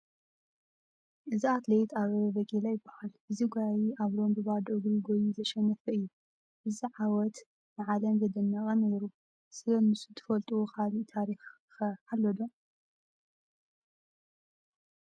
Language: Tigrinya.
እዚ ኣትሌት ኣበበ ቢቂላ ይበሃል፡፡ እዚ ጐያዪ ኣብ ሮም ብባዶ እግሩ ጐዪዩ ዘሸነፈ እዩ፡፡ እዚ ዓወት ንዓለም ዘደነቐ እዩ ነይሩ፡፡ ስለንሱ ታፈልጥዎ ካልእ ታሪክ ኸ ኣሎ ዶ?